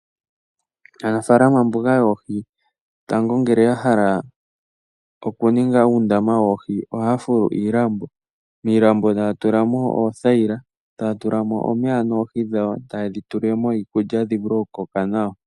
Aanafalama mboka yoohi tango ngele ya hala okuninga uundamawoohi, ohaya fulu iilambo. Miilambo taya tulamo oothayila, taya tulamo omeya noohi dhawo. Taye dhi tulilemo iikulya dhi vule okukoka nawa.